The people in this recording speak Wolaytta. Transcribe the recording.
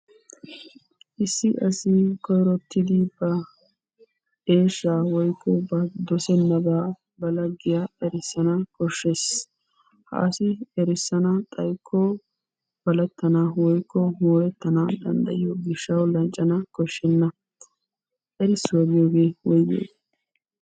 Issi asi koyrottidi ba eeshsha woykko ba dossenaaba ba laggiya erissana koshshees. Ha asi erissana xaykko balettana woykko moorettana danddayiyo gishshaw lanccana koshshena. Erissuwaa giyoohee woygiyogge?